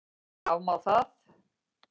Afmá það?